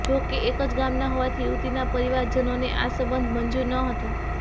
જોકે એક જ ગામના હોવાથી યુવતિના પરિવારજનોને આ સંબંધ મંજુર ન હતો